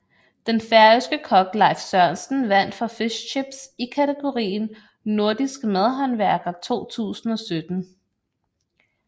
Den færøske kok Leif Sørensen vandt for Fish Chips i kategorien Nordisk madhåndværker 2017